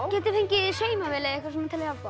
get ég fengið saumavél eða eitthvað til að hjálpa